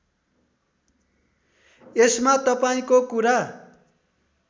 यसमा तपाईँको कुरा